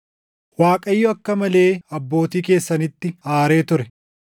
“ Waaqayyo akka malee abbootii keessanitti aaree ture.